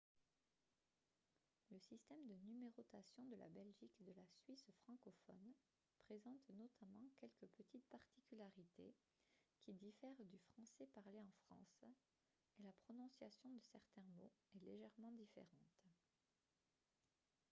le système de numérotation de la belgique et de la suisse francophones présente notamment quelques petites particularités qui diffèrent du français parlé en france et la prononciation de certains mots est légèrement différente